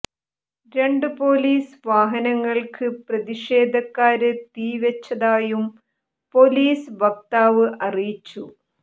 രണ്ടു പോലീസ് വാഹനങ്ങള്ക്ക് പ്രതിഷേധക്കാര് തീവെച്ചതായും പോലീസ് വക്താവ് അറിയിച്ചു